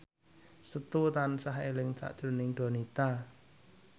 Setu tansah eling sakjroning Donita